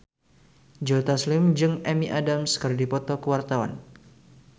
Joe Taslim jeung Amy Adams keur dipoto ku wartawan